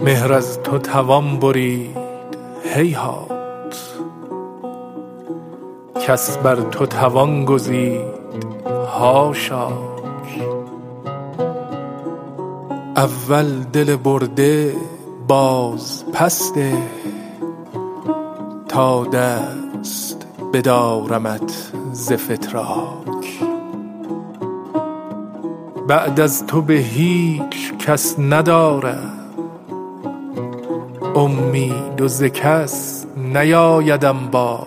مهر از تو توان برید هیهات کس بر تو توان گزید حاشاک اول دل برده باز پس ده تا دست بدارمت ز فتراک بعد از تو به هیچ کس ندارم امید و ز کس نیآیدم باک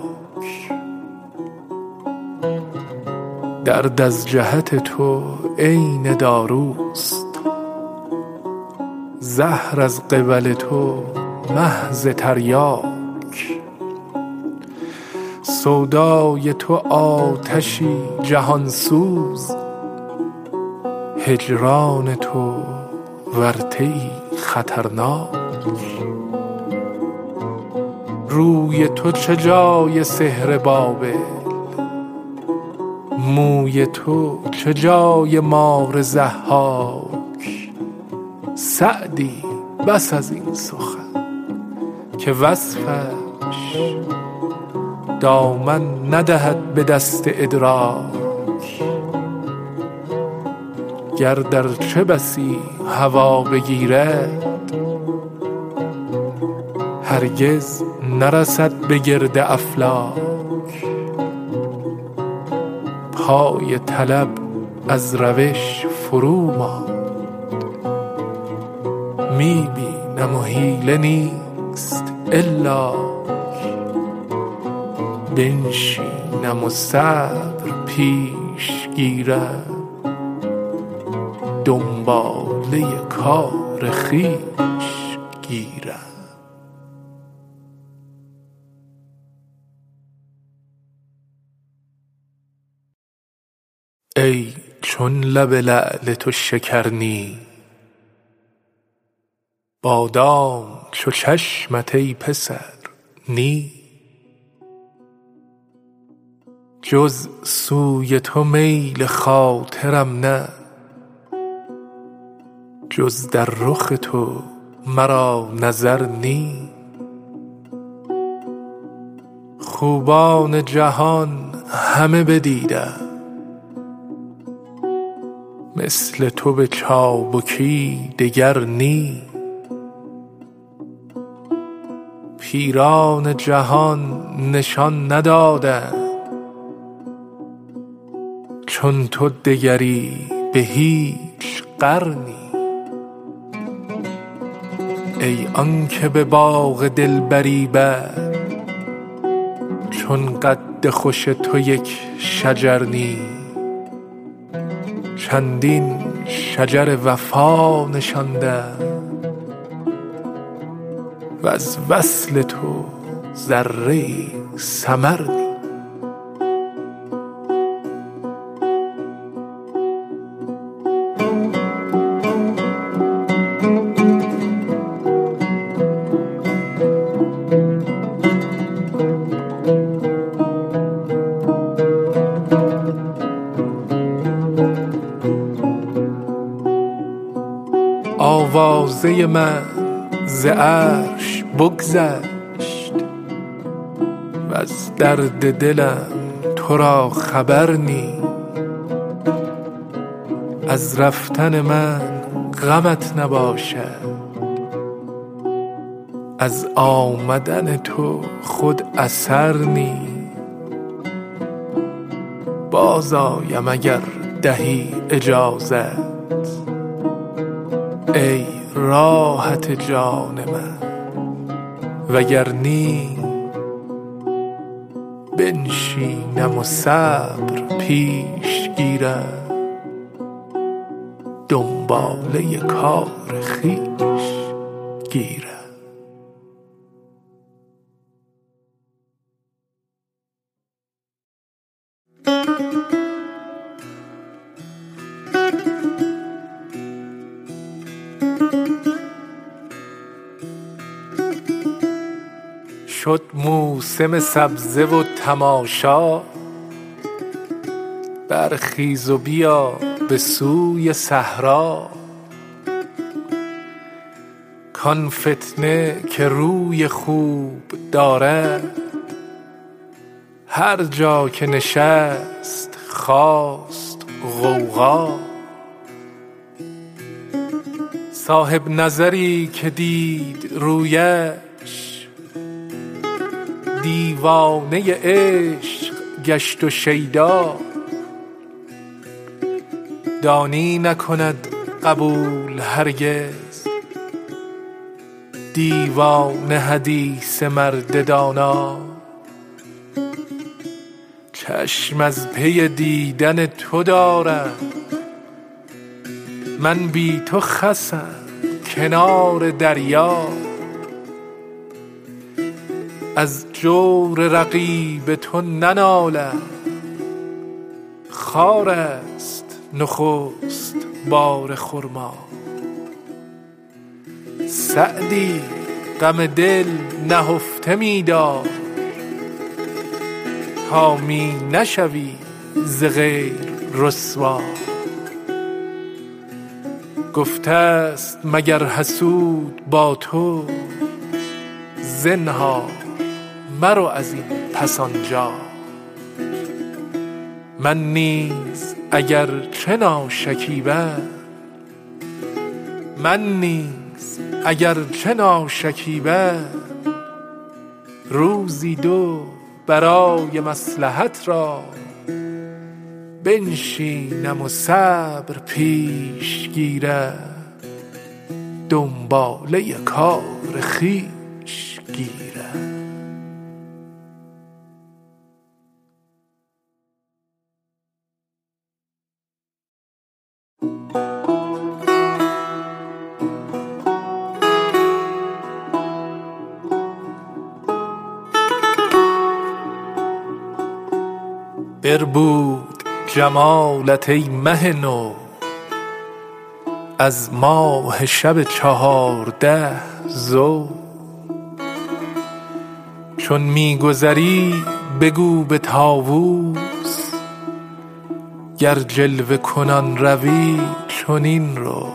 درد از جهت تو عین داروست زهر از قبل تو محض تریاک سودای تو آتشی جهان سوز هجران تو ورطه ای خطرناک روی تو چه جای سحر بابل موی تو چه جای مار ضحاک سعدی بس ازین سخن که وصفش دامن ندهد به دست ادراک گرد ارچه بسی هوا بگیرد هرگز نرسد به گرد افلاک پای طلب از روش فرو ماند می بینم و حیله نیست الاک بنشینم و صبر پیش گیرم دنباله کار خویش گیرم ای چون لب لعل تو شکر نی بادام چو چشمت ای پسر نی جز سوی تو میل خاطرم نه جز در رخ تو مرا نظر نی خوبان جهان همه بدیدم مثل تو به چابکی دگر نی پیران جهان نشان ندادند چون تو دگری به هیچ قرنی ای آن که به باغ دلبری بر چون قد خوش تو یک شجر نی چندین شجر وفا نشاندم وز وصل تو ذره ای ثمر نی آوازه من ز عرش بگذشت وز درد دلم تو را خبر نی از رفتن من غمت نباشد از آمدن تو خود اثر نی باز آیم اگر دهی اجازت ای راحت جان من وگر نی بنشینم و صبر پیش گیرم دنباله کار خویش گیرم شد موسم سبزه و تماشا برخیز و بیا به سوی صحرا کآن فتنه که روی خوب دارد هر جا که نشست خاست غوغا صاحب نظری که دید رویش دیوانه عشق گشت و شیدا دانی نکند قبول هرگز دیوانه حدیث مرد دانا چشم از پی دیدن تو دارم من بی تو خسم کنار دریا از جور رقیب تو ننالم خارست نخست بار خرما سعدی غم دل نهفته می دار تا می نشوی ز غیر رسوا گفته ست مگر حسود با تو زنهار مرو ازین پس آنجا من نیز اگر چه ناشکیبم روزی دو برای مصلحت را بنشینم و صبر پیش گیرم دنباله کار خویش گیرم بربود جمالت ای مه نو از ماه شب چهارده ضو چون می گذری بگو به طاوس گر جلوه کنان روی چنین رو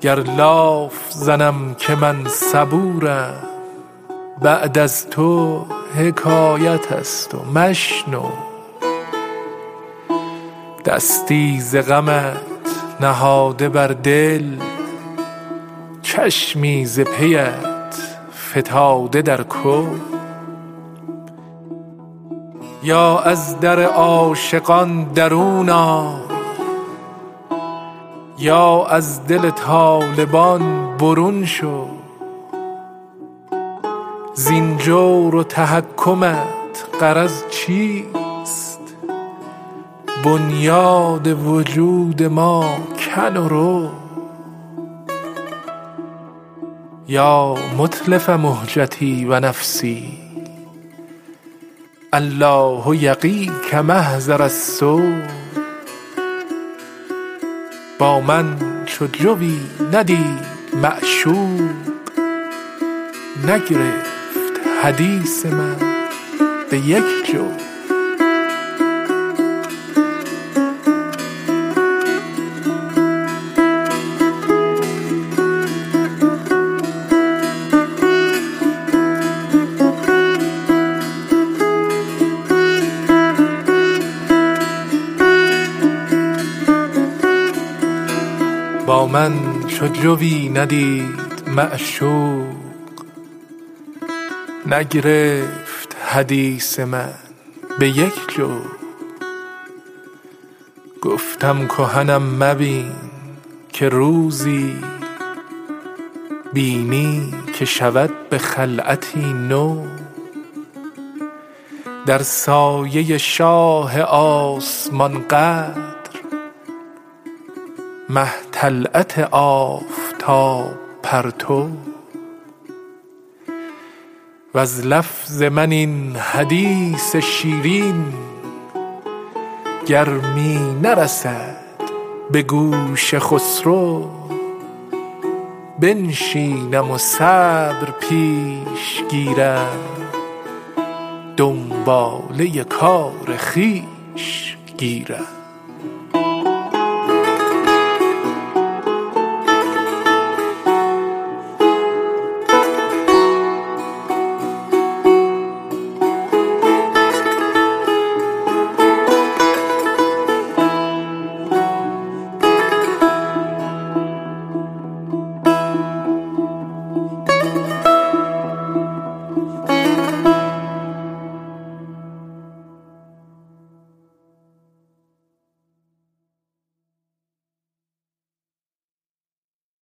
گر لاف زنم که من صبورم بعد از تو حکایت ست و مشنو دستی ز غمت نهاده بر دل چشمی ز پیت فتاده در گو یا از در عاشقان درون آی یا از دل طالبان برون شو زین جور و تحکمت غرض چیست بنیاد وجود ما کن و رو یا متلف مهجتی و نفسی الله یقیک محضر السو با من چو جویی ندید معشوق نگرفت حدیث من به یک جو گفتم کهنم مبین که روزی بینی که شود به خلعتی نو در سایه شاه آسمان قدر مه طلعت آفتاب پرتو وز لفظ من این حدیث شیرین گر می نرسد به گوش خسرو بنشینم و صبر پیش گیرم دنباله کار خویش گیرم